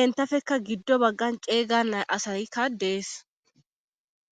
entafeka giddo baggan qeeyga a asayikka dees.